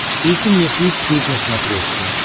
включи мне флик снип на смотрешке